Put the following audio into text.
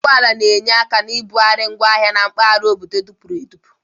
Ụgbọ ala na-enye aka na nbugharị ngwo ahịa na mpaghara obodo dịpụrụ adịpụ.